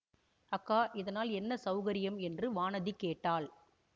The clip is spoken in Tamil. அக்கா இதனால் என்ன சௌகரியம் என்று வானதி கேட்டாள்